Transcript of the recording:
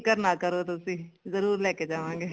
ਫਿਕਰ ਨਾ ਕਰੋ ਤੁਸੀਂ ਜਰੂਰ ਲੈਕੇ ਜਾਵਾਂਗੇ